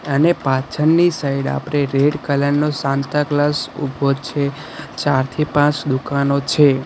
અને પાછળની સાઈડ આપણે રેડ કલર નો સાન્તા ક્લોઝ ઉભો છે ચારથી પાંચ દુકાનો છે.